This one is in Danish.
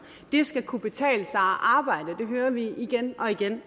det skal kunne betale sig at arbejde det hører vi igen og igen